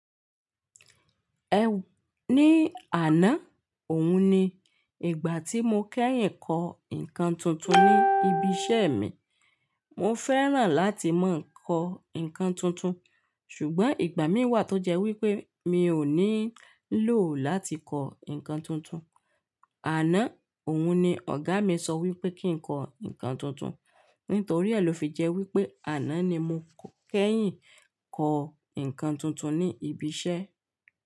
Ní àná, òun ni ìgbà tí mo kẹ́yìn kọ nǹkan tuntun ní ibi iṣẹ́ mi. Mo fẹ́ràn láti máa kọ nǹkan tuntun, ṣùgbọ́n ìgbà mí wà tó jẹ́ wípé mi ò ní lò láti kọ nǹkan tuntun. Àná òun ni ọ̀gá mi sọ wípé kí n kọ nǹkan tuntun. Nítorí e lọ fi jẹ wípé àná ni mo kẹ́yìn kọ nǹkan tuntun ní ibi iṣẹ́.